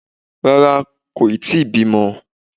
Rárá, kò yí tíì bímọ